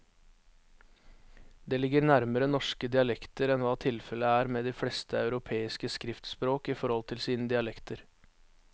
Det ligger nærmere norske dialekter enn hva tilfellet er med de fleste europeiske skriftspråk i forhold til sine dialekter.